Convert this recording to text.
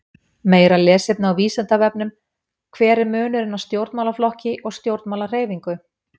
Meira lesefni á Vísindavefnum: Hver er munurinn á stjórnmálaflokki og stjórnmálahreyfingu?